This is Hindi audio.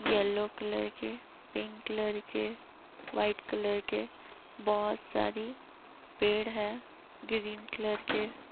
येलो कलर के पिंक कलर के वाइट कलर के बोहोत सारी पेड़ हैं। ग्रीन कलर के --